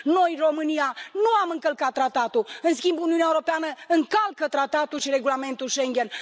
Noi, România, nu am încălcat Tratatul, în schimb Uniunea Europeană încalcă Tratatul și regulamentul Schengen.